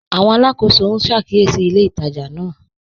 Àwọn alákọsọ n ṣàkíyèsí ilẹ̀ ìtajà náà.